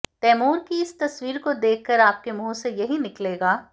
तैमूर की इस तस्वीर को देखकर आपके मुंह से यही निकलेगा